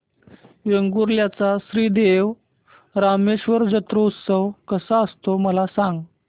वेंगुर्ल्या चा श्री देव रामेश्वर जत्रौत्सव कसा असतो मला सांग